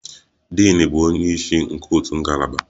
Din bụ onye isi nke otu ngalaba.